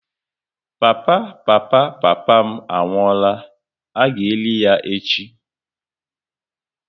Papa papa papa m anwụọla, a ga eli ya echi